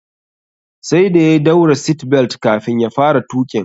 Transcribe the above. Sai da ya daura "seat belt" kafin ya fara tuƙin